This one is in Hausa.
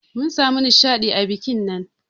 Mun samu nishadi a bikin nan.